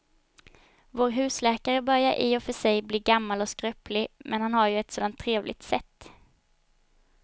Vår husläkare börjar i och för sig bli gammal och skröplig, men han har ju ett sådant trevligt sätt!